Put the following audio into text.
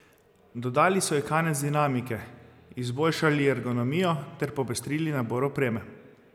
Dodali so ji kanec dinamike, izboljšali ergonomijo ter popestrili nabor opreme.